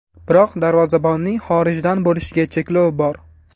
Biroq darvozabonning xorijdan bo‘lishiga cheklov bor.